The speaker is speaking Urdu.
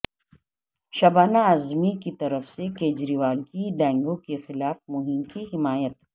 شبانہ اعظمی کی طرف سے کیجریوال کی ڈینگو کے خلاف مہم کی حمایت